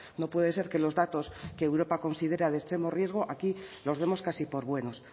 no puede ser que los datos que europa considera de extremo riesgo aquí los demos casi por buenos